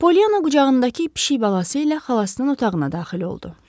Polyana qucağındakı pişik balası ilə xalasının otağına daxil oldu.